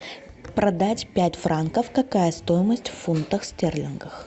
продать пять франков какая стоимость в фунтах стерлингов